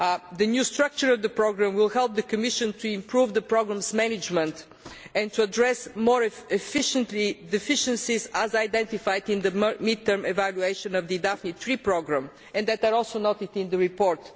The new structure of the programme will help the Commission to improve the programme's management and to address more efficiently deficiencies as identified in the mid term evaluation of the Daphne III programme, which are also noted in the report.